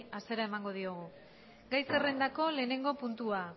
hasiera emango diogu gai zerrendako lehenengo puntua